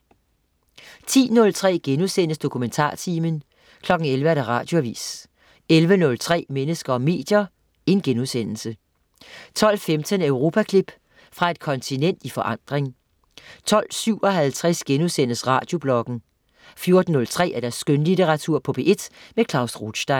10.03 DokumentarTimen* 11.00 Radioavis 11.03 Mennesker og medier* 12.15 Europaklip. Fra et kontinent i forandring 12.57 Radiobloggen* 14.03 Skønlitteratur på P1. Klaus Rothstein